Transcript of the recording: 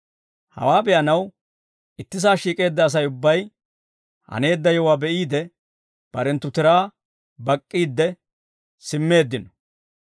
Hawaa be'anaw ittisaa shiik'eedda Asay ubbay haneedda yewuwaa be'iide, barenttu tiraa bak'k'iidde simmeeddino.